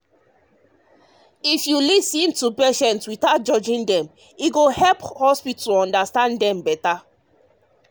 if you lis ten to patients without judging dem e go help hospital understand dem better.